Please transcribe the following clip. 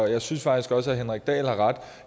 jeg synes faktisk også at henrik dahl har ret